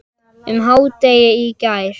um hádegið í gær.